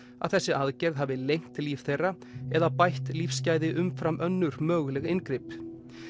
að þessi aðgerð hafi lengt líf þeirra eða bætt lífsgæði umfram önnur möguleg inngrip